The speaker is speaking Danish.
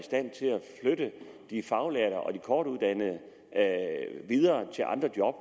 flytte de faglærte og de kortuddannede videre til andre job